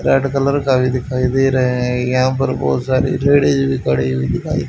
red colour का भी दिखाई दे रहे हैं यहां पर बहुत सारी लेडिस भी खड़ी हुई दिखाई--